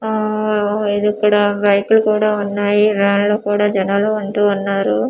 ఓ ఇది ఇక్కడ రైతు కూడా ఉన్నాయి రాళ్ళు కూడా జనాలు అంటూ ఉన్నారు.